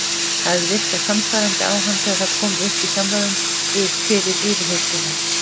Það hafði virkað sannfærandi á hann þegar það kom upp í samræðum fyrir yfirheyrsluna.